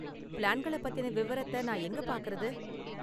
பிளான்களை பத்தின விவரத்தை நான் எங்க பார்க்கறது?